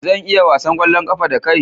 Zan iya wasan ƙwallon ƙafa da kai?